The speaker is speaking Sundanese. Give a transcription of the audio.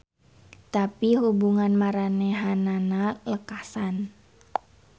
Tapi hubungan maranehanana lekasan.